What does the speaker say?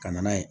Ka na n'a ye